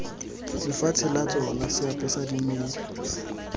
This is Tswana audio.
lefatshe la tsona seapesa dimela